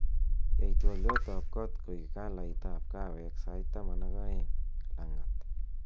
yai twolyot ab koot koik kalait ab kaaweek sait taman ak oeng lang'at